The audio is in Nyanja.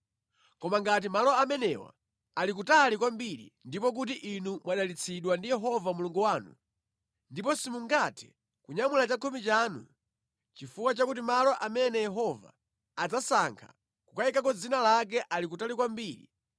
Koma ngati malo amenewa ali kutali kwambiri ndipo kuti inu mwadalitsidwa ndi Yehova Mulungu wanu, ndipo simungathe kunyamula chakhumi chanu (chifukwa chakuti malo amene Yehova adzasankha kukayikako dzina lake ali kutali kwambiri),